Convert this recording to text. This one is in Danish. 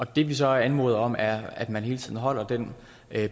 det vi så anmoder om er at man hele tiden holder den